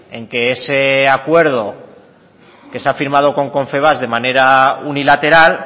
en que ese acuerdo que se ha firmado con confebask de manera unilateral